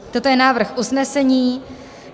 Toto je návrh usnesení.